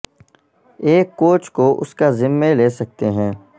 ایک کوچ کو اس کا ذمہ لے سکتے ہیں